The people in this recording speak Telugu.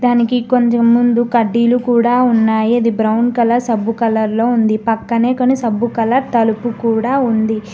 మనకి కొంచెం ముందు కడ్డీలు కూడా ఉన్నాయి అది బ్రౌన్ కలర్ సబ్బు కలర్ లో ఉంది పక్కనే కొన్ని సబ్బు కలర్ తలుపు కూడా ఉంది.